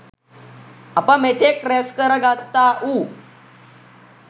අප මෙතෙක් ‍රැස් කරගත්තාවු